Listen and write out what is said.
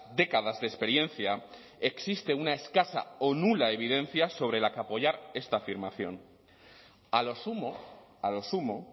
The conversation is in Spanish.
décadas de experiencia existe una escasa o nula evidencia sobre la que apoyar esta afirmación a lo sumo a lo sumo